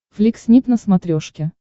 флик снип на смотрешке